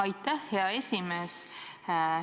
Aitäh, hea esimees!